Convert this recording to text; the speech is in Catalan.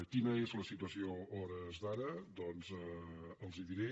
quina és la situació a hores d’ara doncs els la diré